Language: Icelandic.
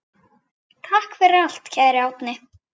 Takk fyrir allt, kæri Árni.